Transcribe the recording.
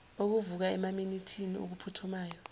okuvuka emaminithini okuphuthumayo